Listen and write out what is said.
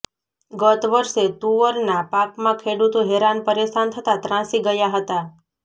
ગત વર્ષે તુવરના પાકમાં ખેડૂતો હેરાન પરેશાન થતાં ત્રાસી ગયા હતા